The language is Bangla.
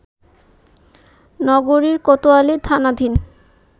নগরীর কোতোয়ালি থানাধীন